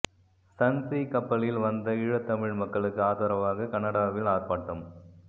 Sun Sea கப்பலில் வந்த ஈழத்தமிழ் மக்களுக்கு ஆதரவாக கனடாவில் ஆர்ப்பாட்டம்